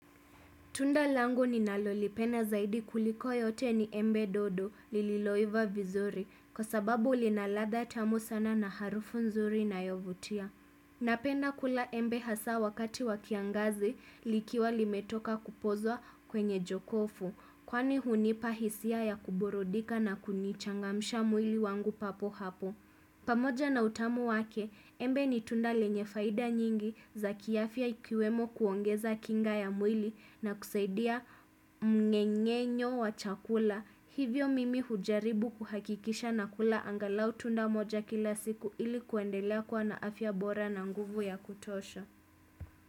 Tunda langu ninalolipenda zaidi kuliko yote ni embe dodo, lililoiva vizuri, kwa sababu linaladha tamu sana na harufu nzuri inayovutia. Napenda kula embe hasaa, wakati wa kiangazi, likiwa limetoka kupozwa kwenye jokofu, kwani hunipa hisia ya kuburudika na kunichangamisha mwili wangu papo hapo. Pamoja na utamu wake, embe ni tunda lenye faida nyingi za kiafya ikiwemo kuongeza kinga ya mwili, na kusaidia mmeng'enyo wa chakula. Hivyo mimi hujaribu kuhakikisha nakula angalau tunda moja kila siku ili kuendelea kuwa na afya bora na nguvu ya kutosha.